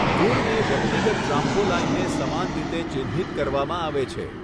ગુણને વ્યક્તિગત ટ્રામ્પોલાઈનને સમાન રીતે ચિહ્નિત કરવામાં આવે છે.